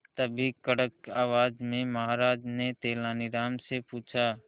तभी कड़क आवाज में महाराज ने तेनालीराम से पूछा